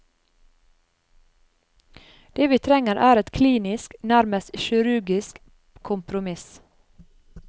Det vi trenger er et klinisk, nærmest kirurgisk, kompromiss.